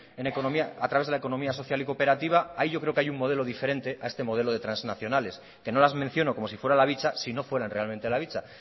a través de la economía social y cooperativa ahí yo creo que hay un modelo diferente a este modelo de trasnacionales que no las menciono como si fuera la bicha si no fueran realmente la bicha